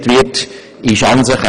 Alles andere ist eine Mär.